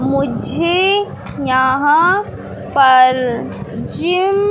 मुझे यहां पर जिम --